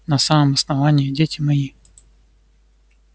на самом основании дети мои